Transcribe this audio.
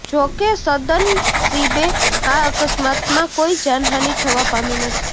જો કે સદનસીબે આ અકસ્માતમાં કોઈ જાનહાની થવા પામી નથી